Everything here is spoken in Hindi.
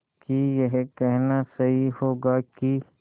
कि यह कहना सही होगा कि